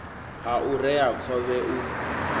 ha u rea khovhe u